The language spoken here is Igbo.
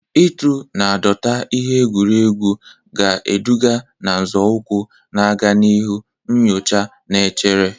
Ịtụ na dọta ihe egwuregwu ga-eduga na nzọụkwụ na-aga n'ihu nyocha na-echere.